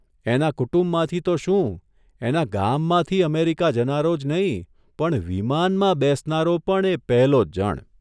એના કુટુંબમાંથી તો શું એના ગામમાંથી અમેરિકા જનારો જ નહીં, પણ વિમાનમાં બેસનારો પણ એ પહેલો જ જણ !